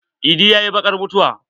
Idi ya yi bakar mutuwa.